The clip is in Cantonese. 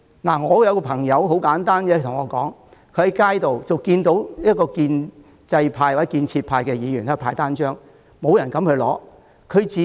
很簡單，有一位朋友跟我說，他在街上看到一名建制派或建設派議員派單張，但沒有人敢拿。